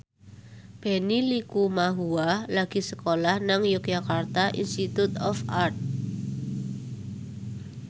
Benny Likumahua lagi sekolah nang Yogyakarta Institute of Art